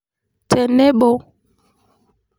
Tenebo.